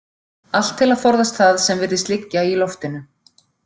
Allt til að forðast það sem virðist liggja í loftinu.